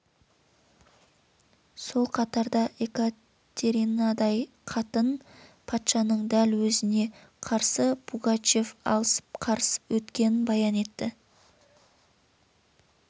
сол қатарда екатеринадай қатын патшаның дәл өзіне қарсы пугачев алысып қарысып өткенін баян етті